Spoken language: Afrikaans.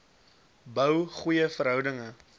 bou goeie verhoudinge